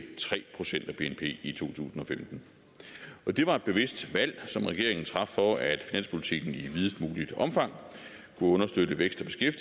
tre procent af bnp i to tusind og femten det var et bevidst valg som regeringen traf for at finanspolitikken i videst muligt omfang kunne understøtte væksten